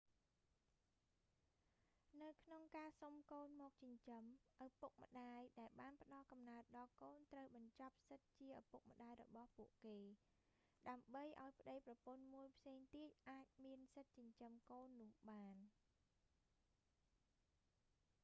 នៅក្នុងការសុំកូនមកចិញ្ចឹម ឪពុកម្តាយដែលបានផ្ដល់កំណើតដល់កូនត្រូវបញ្ចប់សិទ្ធិជាឪពុកម្តាយរបស់ពួកគេ ដើម្បីឲ្យប្តីប្រពន្ធមួយផ្សេងទៀតអាចមានសិទ្ធិចិញ្ចឹមកូននោះបាន